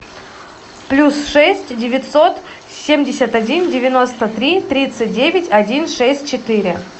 плюс шесть девятьсот семьдесят один девяносто три тридцать девять один шесть четыре